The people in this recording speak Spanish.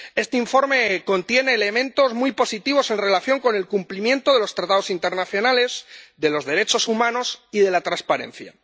Este informe contiene elementos muy positivos en relación con el cumplimiento de los tratados internacionales, de los derechos humanos y de la transparencia.